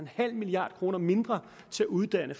halv milliard kroner mindre til at uddanne